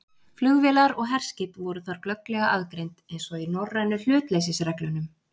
Flugvélar og herskip voru þar glögglega aðgreind, eins og í norrænu hlutleysisreglunum.